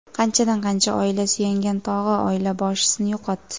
Qanchadan-qancha oila suyangan tog‘i, oila boshisini yo‘qotdi.